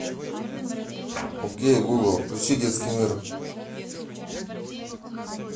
окей гугл включи детский мир